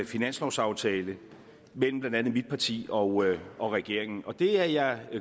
finanslovsaftale mellem blandt andet mit parti og og regeringen det er jeg